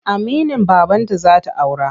Aminin babanta za ta aura.